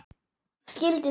Skildi þetta ekki.